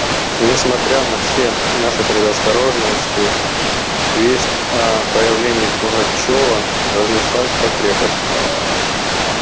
несмотря на все наши предосторожности весть о появлении пугачёва разнеслась по крепости